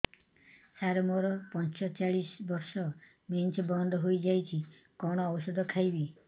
ସାର ମୋର ପଞ୍ଚଚାଳିଶି ବର୍ଷ ମେନ୍ସେସ ବନ୍ଦ ହେଇଯାଇଛି କଣ ଓଷଦ ଖାଇବି